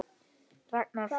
Ragnar Freyr.